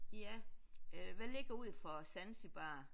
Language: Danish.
Ja øh hvad ligger ud for Zanzibar?